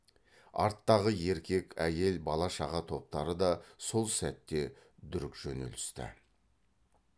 арттағы еркек әйел бала шаға топтары да сол сәтте дүрк жөнелісті